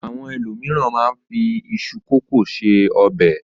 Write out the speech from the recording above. Àwọn ènìyàn mìíràn máa ń fi iṣu kòkó se ọbẹ̀.